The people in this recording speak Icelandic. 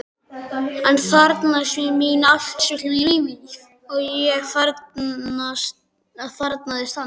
Hann þarfnaðist mín allt sitt líf, og ég þarfnaðist hans.